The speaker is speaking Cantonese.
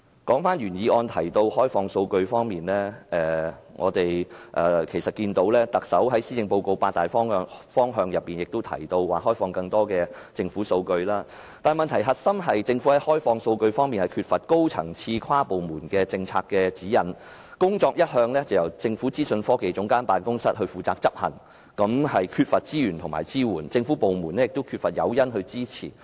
說回原議案提及的開放數據，我們看到特首在施政報告所述的八大方向中，也提到開放更多政府數據，但問題的核心是，政府在開放數據方面缺乏高層次和跨部門的政策指引，工作一向由政府資訊科技總監辦公室負責執行，缺乏資源和支援，而政府部門亦缺乏誘因去給予支持。